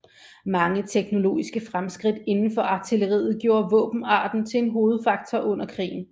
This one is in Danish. Mange teknologiske fremskridt inden for artilleriet gjorde våbenarten til en hovedfaktor under krigen